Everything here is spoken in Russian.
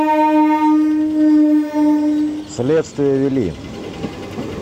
следствие вели